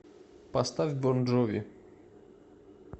поставь бон джови